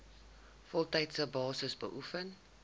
voltydse basis beoefen